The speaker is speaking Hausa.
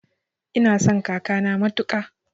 Ina son kakana matuƙa